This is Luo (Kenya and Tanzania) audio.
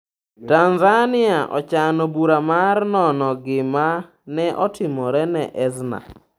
Tanzania ochano bura mar nono gima ne otimore ne Ezna